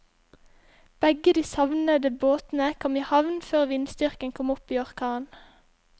Begge de savnede båtene kom i havn før vindstyrken kom opp i orkan.